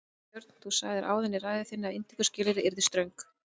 Björn: Þú sagðir áðan í ræðu þinni að inntökuskilyrði yrðu ströng?